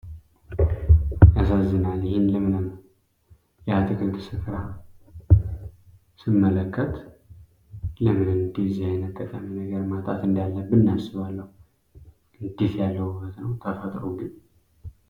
ያሳዝናል! ይሄን ለምለም የአትክልት ስፍራ ስመለከት፣ ለምን እንደዚህ አይነት ጠቃሚ ነገር ማጣት እንዳለብን አስባለሁ! እንዴት ያለ ውበት ነው ተፈጥሮ ግን!